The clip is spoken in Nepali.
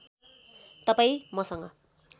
तपाईँ मसँग